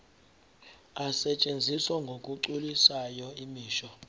asetshenziswa ngokugculisayo imisho